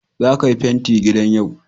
zaka Yi fenti gidan yau.